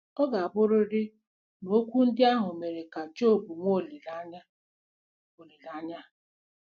Ọ ga-abụrịrị na okwu ndị ahụ mere ka Job nwee olileanya olileanya.